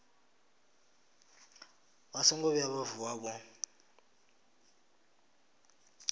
songo vhuya vha vuwa vho